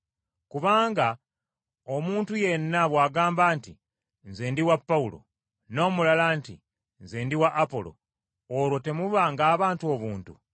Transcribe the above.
Kubanga omuntu yenna bw’agamba nti, “Nze ndi wa Pawulo,” n’omulala nti, “Nze ndi wa Apolo,” olwo temuba ng’abantu obuntu?